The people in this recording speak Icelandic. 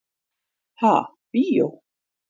Ha, bíó?